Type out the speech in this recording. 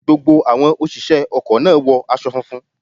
Gbogbo àwọn òṣìṣẹ́ ọkọ̀ náà wọ aṣọ funfun.